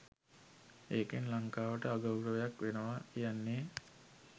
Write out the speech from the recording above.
ඒකෙන් ලංකාවට අගෞරවයක් වෙනව කියන්නේ